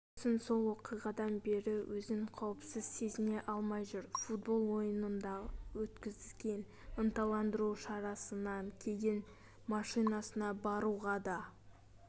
джексон сол оқиғадан бері өзін қауіпсіз сезіне алмай жүр футбол ойынында өткізген ынталандыру шарасынан кейін машинасына баруға да